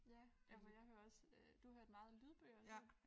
Ja ja for jeg hører også øh du hørte meget lydbøger ik